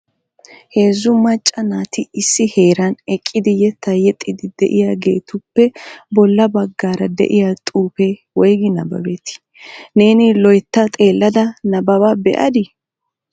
Heezzu macca naati issi heeran eqqidi yetta yexxiidi de'iyaageetuppe bolla baggaara de'iyaa xuufe woyggi nabbabeti neeni loytta xeelada nabbaba be'adi?